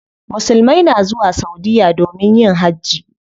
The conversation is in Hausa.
Musulmai na zuwa saudiya domin yin hajji.